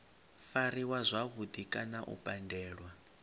fariwa zwavhudi kana u pandelwa